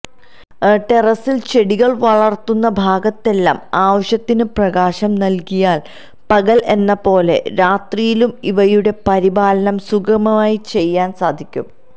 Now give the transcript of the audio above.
ടെറസിൽ ചെടികൾ വളർത്തുന്ന ഭാഗത്തെല്ലാം ആവശ്യത്തിന് പ്രകാശം നൽകിയാൽ പകൽ എന്നപോലെ രാത്രിയിലും ഇവയുടെ പരിപാലനം സുഗമമായി ചെയ്യാൻ സാധിക്കും